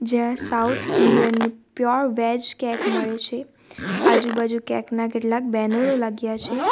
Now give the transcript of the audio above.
જ્યાં south Indian pure veg cake મળે છે આજુબાજુ કેક ના કેટલાક બેનરો લાગ્યા છે.